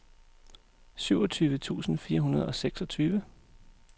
syvogtyve tusind fire hundrede og seksogtyve